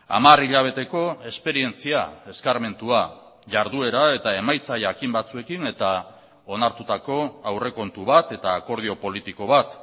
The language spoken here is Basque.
hamar hilabeteko esperientzia eskarmentua jarduera eta emaitza jakin batzuekin eta onartutako aurrekontu bat eta akordio politiko bat